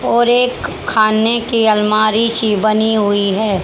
और एक खाने की अलमारी सी बनी हुई है।